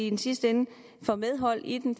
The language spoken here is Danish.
i sidste ende får medhold i den